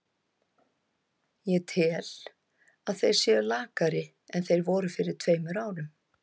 Ég tel að þeir séu lakari en þeir voru fyrir tveimur árum.